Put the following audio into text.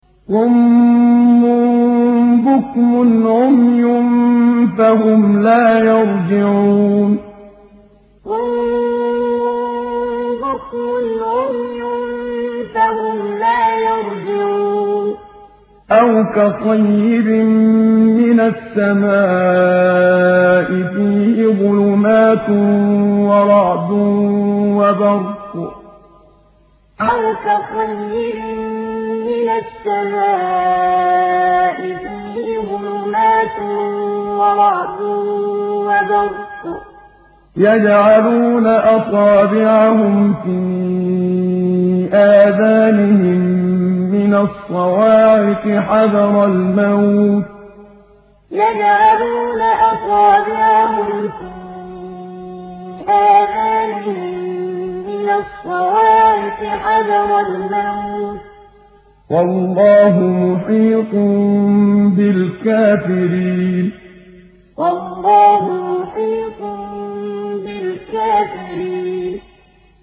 صُمٌّ بُكْمٌ عُمْيٌ فَهُمْ لَا يَرْجِعُونَ صُمٌّ بُكْمٌ عُمْيٌ فَهُمْ لَا يَرْجِعُونَ